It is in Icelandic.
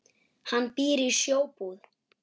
Hann býr í Sjóbúð.